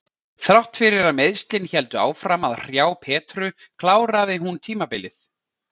Þrátt fyrir að meiðslin héldu áfram að hrjá Petru kláraði hún tímabilið.